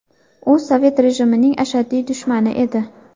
U sovet rejimining ashaddiy dushmani edi.